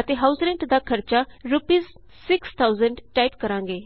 ਅਤੇ house rent ਦਾ ਖਰਚਾ ਰੂਪੀਸ 6000 ਟਾਈਪ ਕਰਾਂਗੇ